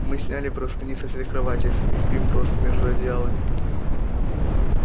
мы сняли простыни со всех кроватей и спим просто между одеялами